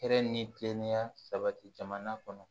Hɛrɛ ni kilenya sabati jamana kɔnɔ